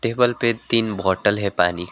Table पे तीन बोतल है पानी।